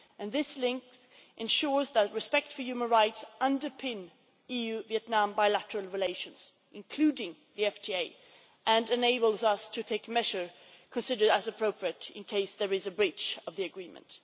These links ensure that respect for human rights underpins EU Vietnam bilateral relations, including the FTA, and enable us to take measures considered appropriate in the event of a breach of the agreement.